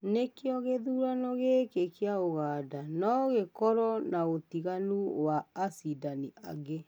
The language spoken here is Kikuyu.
nĩ kĩo, gĩthurano gĩkĩ kĩa Ũganda no gĩkoro na ũtiganu wa acindani angĩ